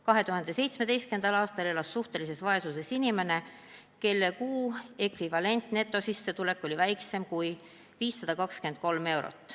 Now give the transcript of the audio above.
2017. aastal elas suhtelises vaesuses inimene, kelle kuu ekvivalentnetosissetulek oli väiksem kui 523 eurot.